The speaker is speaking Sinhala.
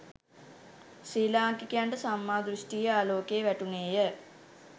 ශ්‍රී ලාංකිකයන්ට සම්මා දෘෂ්ඨියේ ආලෝකය වැටුණේය.